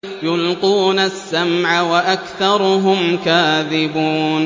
يُلْقُونَ السَّمْعَ وَأَكْثَرُهُمْ كَاذِبُونَ